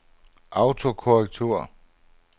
autokorrektur